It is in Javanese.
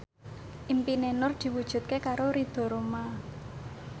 impine Nur diwujudke karo Ridho Roma